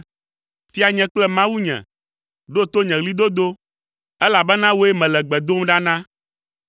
Fianye kple Mawunye, ɖo to nye ɣlidodo, elabena wòe mele gbe dom ɖa na.